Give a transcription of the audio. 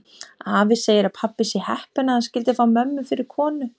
Afi segir að pabbi sé heppinn að hann skyldi fá mömmu fyrir konu.